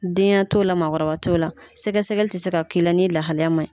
Denya t'o la maakɔrɔba t'o la sɛgɛsɛgɛli ti se ka k'i n'i lahalaya ma ɲi.